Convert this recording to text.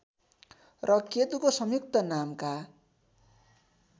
र केतुको संयुक्त नामका